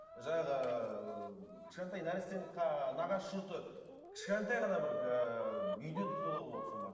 жаңағы ыыы кішкентай нәрестенің нағашы жұрты кішкентай ғана бір ыыы үйде де тойлауға болады соның барлығын